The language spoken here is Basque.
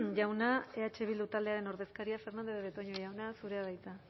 jauna eh bildu taldearen ordezkaria fernandez de betoño jauna zurea da hitza